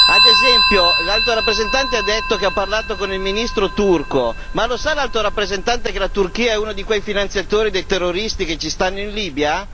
Ad esempio, l'Alto rappresentante ha detto di aver parlato con il ministro turco ma lo sa l'Alto rappresentante che la Turchia è uno dei finanziatori dei terroristi che sono in Libia?